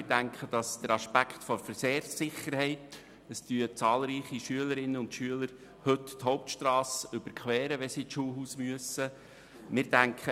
Wir denken auch an die Verkehrssicherheit, denn heute überqueren zahlreiche Schülerinnen und Schüler die Hauptstrasse, wenn sie zum Schulhaus gehen müssen.